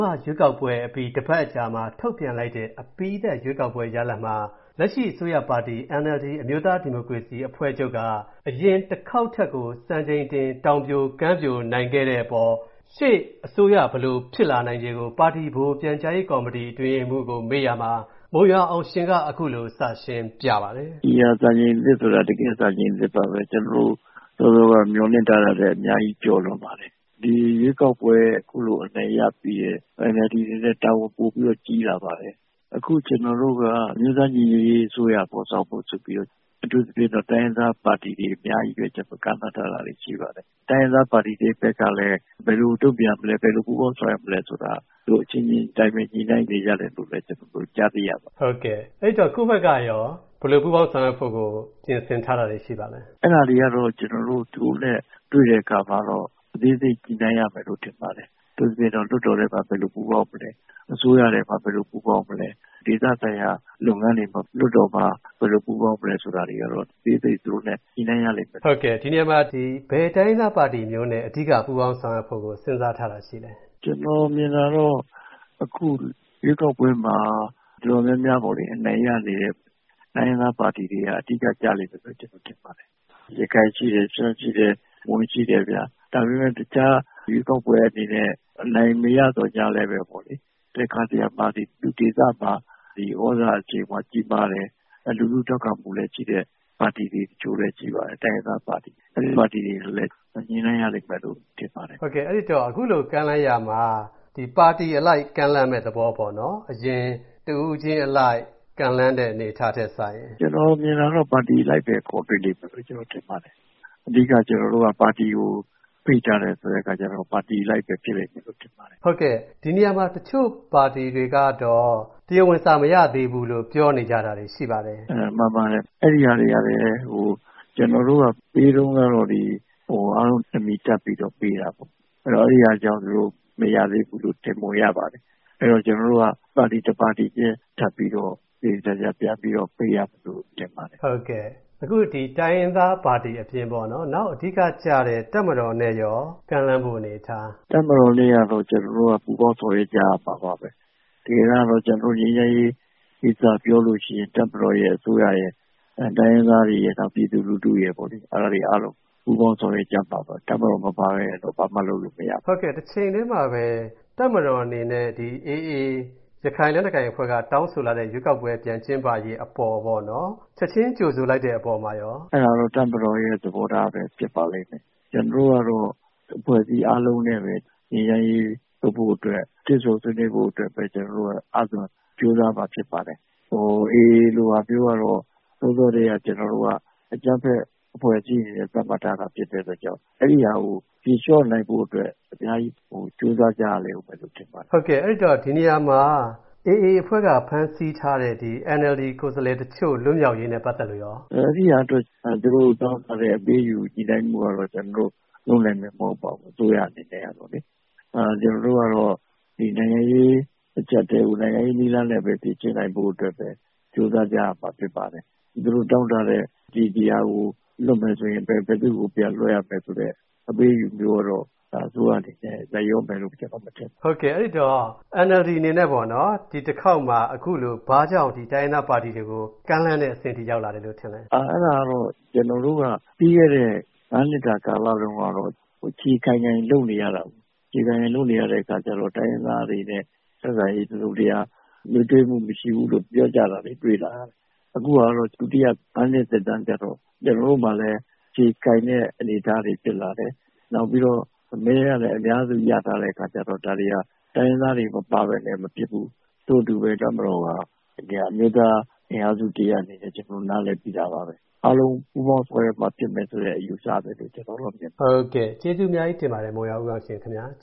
မာရွေးကောက်ပွဲအပြီးတပတ်အကြာမှာ ထုတ်ပြန်လိုက်တဲ့ အပြီးသတ်ရွေးကောက်ပွဲရလာဒ်မှာ လက်ရှိအစိုးရပါတီ NLD အမျိုးသားဒီမိုကရေစီအဖွဲ့ချုပ်က အရင်တခေါက်ထက်ကို စံချိန်တင်ပြီး အနိုင်ရခဲ့ပါတယ်။ ဒါကြောင့် နောက်ထပ် အစိုးရသက်တမ်းအတွင်း ဖြစ်လာနိုင်ခြေတွေနဲ့ပတ်သက်လို့ ဗွီအိုအေ မြန်မာဌာနက ကိုဝင်းမင်းက ပါတီပြန်ကြားရေးဗဟိုအတွင်းရေးမှူး ဦးအောင်ရှင် ကို ဆက်သွယ် မေးမြန်းထားပါတယ်။ ဒီတခါစံချိန်သစ်ဆိုတာ တကယ်စံချိန်သစ်ပါပဲ။ ကျနော်တို့စောစောက မျှော်လင့်ထားတာထက်အများကြီးကျော်လွန်ပါတယ်။ ဒီရွေးကောက်ပွဲအနိုင်ရပြီးရင် NLD အနေနဲ့ တာဝန်ပိုပြီးကြီးလာပါမယ်။ အခုကျနော်တို့က အမျိုးသားညီညွတ်ရေးအစိုးရဖော်ဆောင်ဖို့ဆိုပြီးတော့ အထူးသဖြင့်တော့ တိုင်းရင်းသားပါတီတွေအများကြီးနဲ့ ကမ်းလှမ်းထားတာရှိပါတယ်။ တိုင်းရင်းသားပါတီတွေဖက်ကလည်း ဘယ်လိုတုံပြန်မလဲ ဘယ်လိုပူးပေါင်းဆောင်ရွက်မလဲဆိုတာ သူတို့အချင်းချင်းညှိနှိုင်းနေတယ်လို့ ကျနော်တို့ကြားသိရပါတယ်။ အဲဒီတော့ကိုယ်ဖက်ကရော ဘယ်လိုပူးပေါင်းဆောင်ရွက်ဖို့်ပြင်ဆင်ထားတာရှိပါသလဲ။ အဲဒါတွေကတော့ ကျနော်တို့သူတို့နဲ့တွေ့တဲ့အခါမှာတော့ အသေးစိတ်ညှိနှိုင်းရမယ်လို့ထင်ပါတယ်။ အထူးသဖြင့်တော့ လွှတ်တော်ထဲမှာ ဘယ်လို ပူးပေါင်းမလဲ။ အစိုးရနဲ့ ဘယ်လိုပူးပေါင်းမလဲ။ ဒေသဆိုင်ရာလုပ်ငန်းတွေမှာ လွှတ်တော်မှာဘယ်လိုပူးပေါင်းမလဲဆိုတာကတော့ အသေးစိတ်သူတို့နဲ့ ညှိနှိုင်းရလိမ့်မယ်။ ဟုတ်ကဲ့။ ဒီနေရာမှာဘယ်တိုင်းရင်းသားပါတီမျိုးနဲ့ အဓိက ညှိနှိုင်းထားတာရှိပါသလဲ။ နော်မြင်တာကတော့ ဒီရွေးကောက်ပွဲမှာ အနိုင်ရတဲ့တိုင်းရင်းသားပါတီတွေက အဓိကလို့ ထင်ပါတယ်။ရခိုင်ရှိတယ်။ မွန်ရှိတယ်။ ရှမ်းရှိတယ်ဗျာ။ ဒါပေမဲ့တခြားရွေးကောက်ပွဲမှာ အနိုင်မရသော်လည်းပဲ ဒေသမှာသြဇာအရှိန်ကြီးမားတယ်၊ လူထု့ထောက်ခံမှုရှိတယ်ဆိုတဲ့ပါတီတွေတချို့လည်းရှိပါတယ်။ တိုင်းရင်းသားပါတီတွေ။ အဲဒီပါတီတွေကိုလည်း ညှိနှိုင်းရလိမ့်မယ်လို့ထင်ပါတယ်။ ဟုတ်ကဲ့။ အဲဒီတော့အခုလို ကမ်းလှမ်းရာမှာ အရင် တဦးချင်း အလိုက်ကမ်းလှမ်းမဲ့အစား ပါတီအလိုက် ကမ်းလှမ်းမဲ့သဘောပေါ့နော်။ ကျနော်မြင်တာတော့ပါတီအလိုက်ပဲခေါ်တွေ့လိမ့်မယ်ထင်ပါတယ်။ အဓိကကျနော်တို့ကပါတီကိုဖိတ်ထားတာဆိုတော့ပါတီအလိုက်ပဲဖြစ်လိမ့်မယ်ထင်ပါတယ်။ ဟုတ်ကဲ့။ ဒီနေရာမှာတချို့ပါတီတွေကတော့ တရားဝင်စာမရသေးဘူးလို့ပြောနေကြတာရှိပါတယ်။ မှန်ပါတယ်။ ကျနော်တို့ကပေးတုံးကလည်း အားလုံးအမည်တပ်ပြီးပေးတာပေါ့ခင်ဗျာ။ အဲဒါကြောင့်မရသေးဘူးလို့ထင်ပုံရပါ တယ်။ အဲတော့ကျနော်တို့က စာတွေတပါတီချင်းထပ်ပြီးတော့သေသေချာချာ ပေးရမယ်ထင်ပါတယ်။ ဟုတ် အခုတိုင်းရင်းသားပါတီအပြင် တပ်မတော်နဲ့ကော ကမ်းလှမ်းမှုအနေအထားက ဘယ်လိုရှိပါလဲ။ တပ်မတော်နဲ့ကတော့ ကျနော်တို့က ပူးပေါင်းဆောင်ရွက်ကြရမှာပါပဲ။ အရင်ကတော့ ကျနော်တို့ငြိမ်းချမ်းရေးပြောလိုရှိရင် တပ်မတော်ရယ်၊ အစိုးရရယ်၊ တိုင်းရင်းသားတွေရယ်၊ ပြည်သူလူထုရယ်ပေါ့ အဲဒါတွေအားလုံး ပူးပေါင်းဆောင်ရွက်ရမှာပါပဲ။ တပ်မတော်မပါဘဲ ဘာမှလုပ်လို့မရပါဘူး။ ဟုတ်ကဲ့ တချိန်တည်းမှာပဲ တပ်မတော်အနေနဲ့ ဒီ AA ရခိုင်လက်နက်ကိုင်အဖွဲ့က တောင်းဆိုလာတဲ့ရွေးကောက်ပွဲပြန်ကျင်းပရေးအပေါ်ပေါ့ချက်ချင်းကြိုဆိုလိုက်တဲ့အပေါ်မှာကော အဲဒါကတော့တပ်မတော်ရဲ့သဘောထားပဲဖြစ်ပါလိမ့်မယ်။ ကျနော်တို့ကတော့ အဖွဲ့စည်းအားလုံးနဲ့ ငြိမ်းချမ်းရေးဆွေးနွေးဖို့တွေ့ဆုံဆွေးနွေးဖို့ပဲအားသွန်ကြိုးစားမှာဖြစ်ပါတယ်။ အေအေ လိုအဖွဲ့မျိုးကတော့ ကျနော်တို့က စောစောကတည်းက အကြမ်းဖက်အဖွဲ့စည်းကြေညာထားတဲ့အတွက် အဲဒါကိုဖြေလျော့နိုင်အောင် အများကြီးကြိုးစားရမယ်ထင်ပါတယ်။ အဲဒီတော့ ဒီနေရာမှာ AA အဖွဲ့က ဖမ်းဆီးထားတဲ့ NLD ကိုယ်အစားလှယ်တချို့ လွတ်မြောက်ရေးနဲ့ပတ်သက်လို့ကော... အဲဒါကတော့ သူတို့တောင်းထားတဲ့အပေးအယူညှိနှိုင်းမှုကတော့ ကျနော်တို့လုပ်နိုင်မယ်မဟုတ်ပါဘူး။ အစိုးရအနေနဲ့ကလေ။ ကျနော်တို့ကတော့ နိုင်ငံရေးအကြပ်အတည်းကို နိုင်ငံရေးနည်းလမ်းနဲ့ပဲ ကြိုးစားကြရမှာဖြစ်ပါတယ်။ သူတို့တောင်းထားတဲ့ ဘယ်သူကိုလွှတ်ပေးရင် ဘယ်သူကိုပြန်လွှတ်ပေးမယ်ဆိုတာမျိုးကတော့ အစိုးရအနေနဲ့ လိုက်လျောမယ်မထင်ပါဘူး။ NLD အနေနဲ့အခုမှဘာကြောင့် တိုင်းရင်းသားပါတီတွေကို ကမ်းလှမ်းတဲ့အဆင့်ရောက်လာပါလဲ။ အဲဒါကတော့ ကျနော်တို့က ပြီးခဲ့တဲ့ငါးနှစ်တာကာလတုံးက အခြေခိုင်အောင်လုပ်နေကြရတာဆိုတော့ တိုင်းရင်းသားတွေနဲ့ဆက်ဆံရေးမှာတစုံတရာ နွေးထွေးမှုမရှိဘူးလို့ပြောကြတာတွေလာရတယ်။ အခုဟာကတော့ ဒုတိယငါးနှစ်သက်တမ်းကြတော့ ကျနော်တို့မှာလည်း အခြေခိုင်တဲ့အနေအထားတွေ့လာရတယ်။ နောက်ပြီးတော့မဲကလည်း အများစုရထားတဲ့အခါကြတော့ ဒါတွေဟာ တိုင်းရင်းသားတွေမပါပဲနဲ့မဖြစ်ဘူး။ ထို့အတူပဲ တပ်မတော်ကနေပြီး အမျိုးသားအင်အားစုတရပ်အနေနဲ့ ကျနော်တို့ နားလည်ပြီးသားပါပဲ။ အားလုံးပူးပေါင်းဆောင်ရွက်မှာရမယ်လို့ကျနော်တို့ကမြင်ပါတယ်။ ဟုတ်ကဲ့ကျေးဇူးတင်ပါတယ်မုံရွာဦးအောင်ရှင်ခင်ဗျာ။